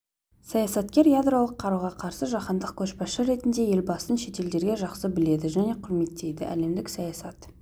саясаткер ядролық қаруға қарсы жаһандық көшбасшы ретінде елбасын шетелдерде жақсы біледі және құрметтейді әлемдік саясат